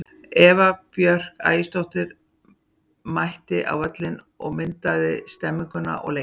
Eva Björk Ægisdóttir mætti á völlinn og myndaði stemmninguna og leikinn.